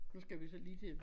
Nu skal vi så lige til